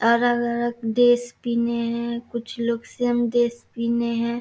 अलग-अलग ड्रेस पिन्हे हेय कुछ लोग सेम ड्रेस पिन्हे हेय।